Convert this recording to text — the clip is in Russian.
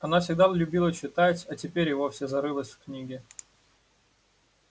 она всегда любила читать а теперь и вовсе зарылась в книги